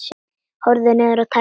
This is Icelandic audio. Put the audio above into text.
Horfði niður á tærnar.